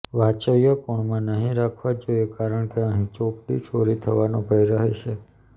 વાય્વ્ય કોણમાં નહી રાખવા જોઈએ કારણ કે અહીં ચોપડી ચોરી થવાનો ભય રહે છે